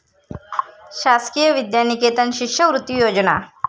शासकीय विद्यानिकेतन शिष्यवृत्ती योजना